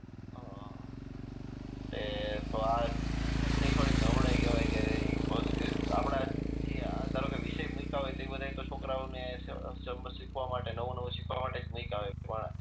અ એટલે તો આ શીક્ષક ની થોડીક નબળાઈ કેવાય કે આપણા કિયા ધારો કે વિષય મુક્યા હોય તે બધાય તો છોકરાઓ ને સમજ શીખવા માટે નવું નુવ શીખવા માટે જ મુક્યા હોય પણ